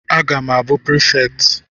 Aga m abụ prefekti